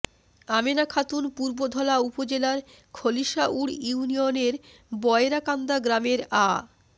আমেনা খাতুন পূর্বধলা উপজেলার খলিশাউড় ইউনিয়নের বয়রাকান্দা গ্রামের আ